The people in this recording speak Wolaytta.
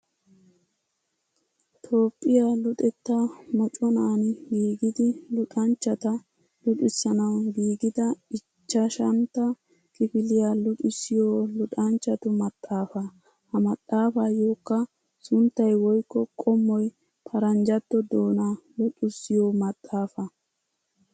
Tophphiya luxetta moconaan gigidi luxanchchata luxissanawu gigida ichchashantta kifiliya luxissiyo luxanchchatu maxaafa. Ha maxafayokka sunttay woykko qommoy paranjjatto doona luxissiyo maxaafa.